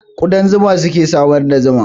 Ƙudan zuma suke samar da zuma